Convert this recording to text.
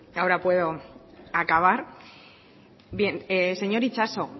ahora puedo acabar bien señor itxaso